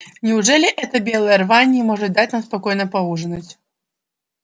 неужели эта белая рвань не может дать нам спокойно поужинать